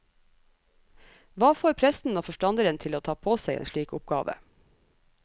Hva får presten og forstanderen til å ta på seg en slik oppgave?